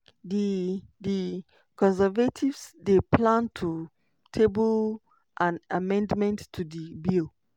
di di conservatives dey plan to table an amendment to di bill.